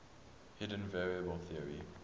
hidden variable theory